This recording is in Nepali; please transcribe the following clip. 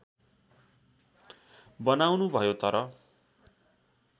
बनाउनु भयो तर